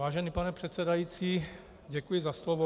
Vážený pane předsedající, děkuji za slovo.